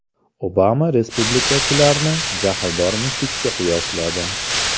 Obama respublikachilarni Jahldor mushukka qiyosladi.